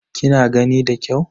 Kina gani da kyau?